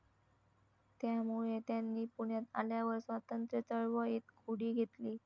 त्यामुळे त्यांनी पुण्यात आल्यावर स्वातंत्र्यचळवळीत उडी घेतली.